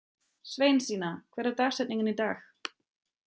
Sveinsína, hver er dagsetningin í dag?